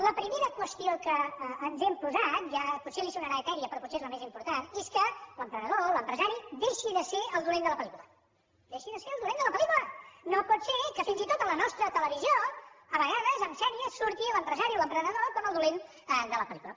la primera qüestió que ens hem posat potser li sonarà etèria però potser és la més important és que l’emprenedor l’empresari deixi de ser el dolent de la pel·lícula deixi de ser el dolent de la pel·lícula no pot ser que fins i tot a la nostra televisió a vegades en sèries surti l’empresari o l’emprenedor com el dolent de la pel·lícula